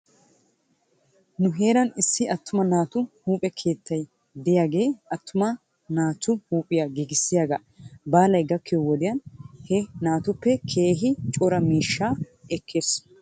Nu heeran issi attuma naatu huuphe keettay diyaagee attuma naatu huuphphiyaa giigissiyaagee baalay gakkiyoo wodiyan he naatuppe keehi cora miishshaa ekkes.